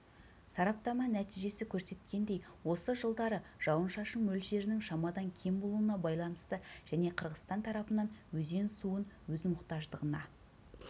сараптама нәтижесі көрсеткендей осы жылдары жауын-шашын мөлшерінің шамадан кем болуына байланысты және қырғызстан тарапынан өзен суын өз мұқтаждығына